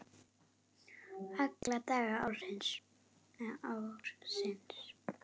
Alla daga ársins!